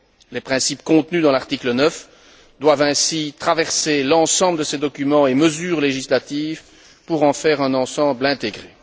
Les principes contenus dans l'article 9 doivent ainsi traverser l'ensemble de ces documents et mesures législatifs pour en faire un ensemble intégré.